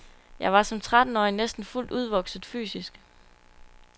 Jeg var som trettenårig næsten fuldt udvokset fysisk.